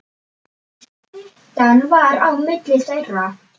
Styttan var á milli þeirra.